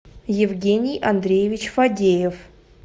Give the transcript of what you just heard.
евгений андреевич фадеев